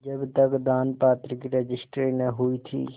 जब तक दानपत्र की रजिस्ट्री न हुई थी